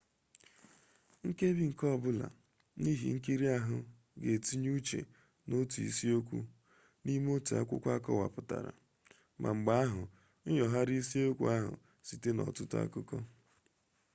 nkebi nke ọbụla n'ihe nkiri ahụ ga-etinye uche n'otu isiokwu n'ime otu akwụkwọ akọwapụtara ma mgbe ahụ nyogharịa isiokwu ahụ site n'ọtụtụ akụkọ